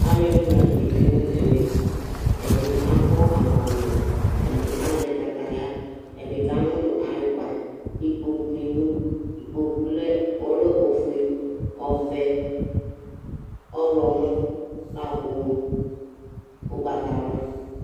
alu ɛdini latɛ tsué nu ɛmɛ ɛdi akɔ agbavlɛ ɛdi azɛ kataya ɛdi ka munu ayu kpa ikpokpu ni du ikpokpu ɔlɛ ofué ɔvɛ ɔwlɔmɔ laku ugbata wla